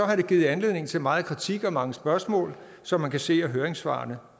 har det givet anledning til meget kritik og mange spørgsmål som man kan se af høringssvarene